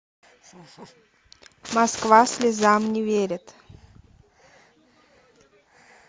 москва слезам не верит